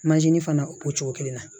fana o cogo kelen na